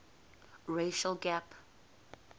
racial gap